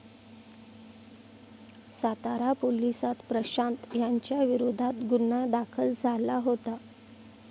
सातारा पोलिसात प्रशांत याच्याविरोधात गुन्हा दाखल झाला होता.